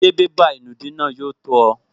Ṣé bébà ìnùdí náà yóò tó ọ?